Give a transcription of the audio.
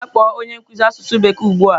Gaa kpọọ onye nkuzi asụsụ bekee ugbu a!